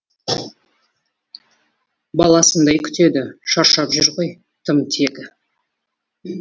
баласындай күтеді шаршап жүр ғой тым тегі